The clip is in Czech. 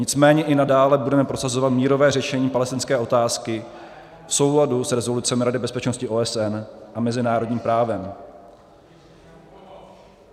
Nicméně i nadále budeme prosazovat mírové řešení palestinské otázky v souladu s rezolucemi Rady bezpečnosti OSN a mezinárodním právem.